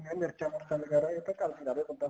ਮਿਰਚਾਂ ਮੁਰਚਾ ਵਗੈਰਾ ਇਹ ਤਾਂ ਘਰ ਦੀਆਂ ਲਾ ਦੇ ਬੰਦਾ